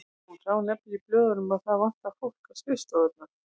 Hún sá nefnilega í blöðunum að það vantaði fólk á skrifstofurnar.